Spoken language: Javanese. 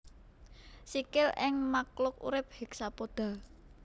Sikil ing makluk urip hexapoda